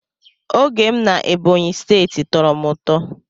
Oge m na Ebonyi steeti tọrọ m ụtọ.